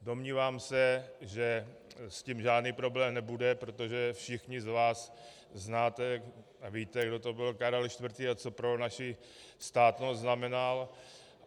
Domnívám se, že s tím žádný problém nebude, protože všichni z vás znáte a víte, kdo to byl Karel IV. a co pro naši státnost znamenal.